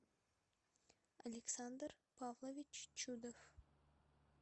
александр павлович чудов